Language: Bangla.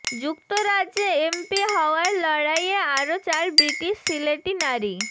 যুক্তরাজ্যে এমপি হওয়ার লড়াইয়ে আরও চার ব্রিটিশ সিলেটি নারী